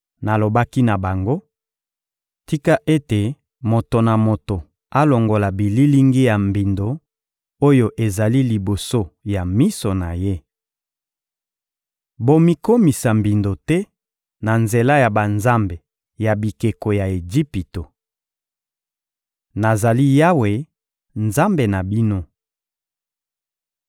Nalobaki na bango: ‘Tika ete moto na moto alongola bililingi ya mbindo oyo ezali liboso ya miso na ye! Bomikomisa mbindo te, na nzela ya banzambe ya bikeko ya Ejipito! Nazali Yawe, Nzambe na bino.’